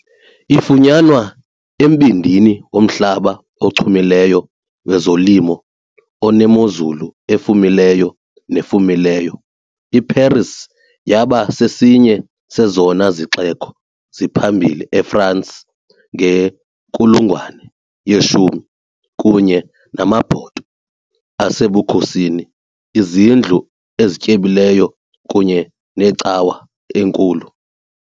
Ifunyanwa embindini womhlaba ochumileyo wezolimo onemozulu efumileyo nefumileyo, iParis yaba sesinye sezona zixeko ziphambili eFrance ngenkulungwane yeshumi, kunye namabhoto asebukhosini, iizindlu ezityebileyo kunye necawa enkulu.